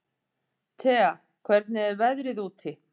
Tea, hvernig er veðrið úti?